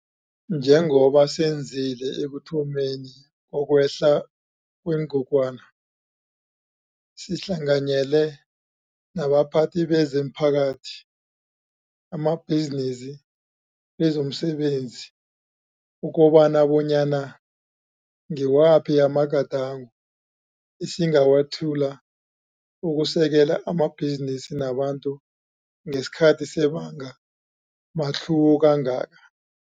Njengoba senzile ekuthomeni kokwehla kwengogwana, sihlanganyele nabaphathi bezo mphakathi, amabhizinisi, bezo msebenzi ukubona bonyana ngiwaphi amagadango esingawethula ukusekela amabhizinisi nabantu ngesikhathi sebanga matlhuwo kangaka.